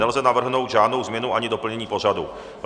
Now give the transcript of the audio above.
Nelze navrhnout žádnou změnu ani doplnění pořadu.